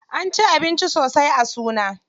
An ci abinci sosai a suna.